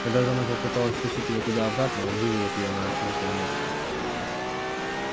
когда же она попыталась втащить его туда обратно он выволок её на открытое место